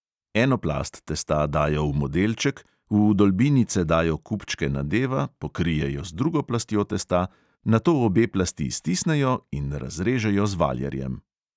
Eno plast testa dajo v modelček, v vdolbinice dajo kupčke nadeva, pokrijejo z drugo plastjo testa, nato obe plasti stisnejo in razrežejo z valjarjem.